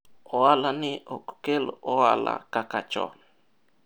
biashara hii haileti faida kama kitambo